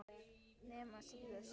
Nema síður sé.